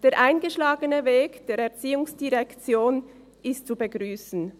Der eingeschlagene Weg der ERZ ist zu begrüssen.